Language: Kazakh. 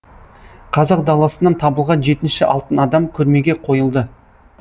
қазақ даласынан табылған жетінші алтын адам көрмеге қойылды